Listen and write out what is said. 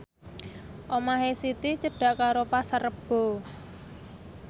omahe Siti cedhak karo Pasar Rebo